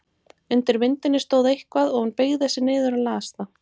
Undir myndinni stóð eitthvað og hún beygði sig niður og las það.